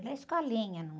Era escolinha